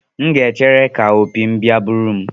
M ga-echere ka opi m bia buru m.